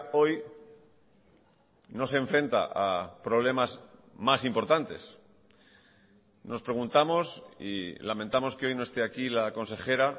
hoy no se enfrenta a problemas más importantes nos preguntamos y lamentamos que hoy no esté aquí la consejera